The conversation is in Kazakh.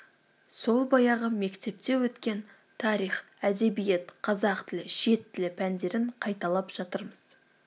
сол баяғы мектепте өткен тарих әдебиет қазақ тілі шет тілі пәндерін қайталап жатырмыз